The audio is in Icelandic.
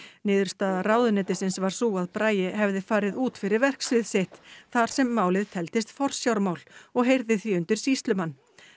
niðurstaða ráðuneytisins var sú að Bragi hefði farið út fyrir verksvið sitt þar sem málið teldist forsjármál og heyrði því undir sýslumann